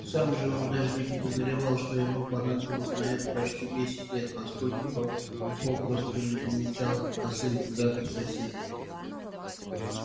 сам же он даже не подозревал что ему понадобилось на это почти десять лет поскольку попросту не замечал косых взглядов соседей